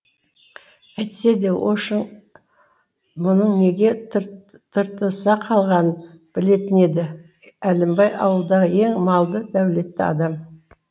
әйтсе де ошың мұның неге тыртыса қалғанын білетін еді әлімбай ауылдағы ең малды дәулетті адам